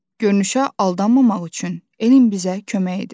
Görünüşə aldanmamaq üçün elm bizə kömək edir.